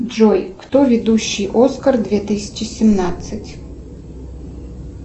джой кто ведущий оскар две тысячи семнадцать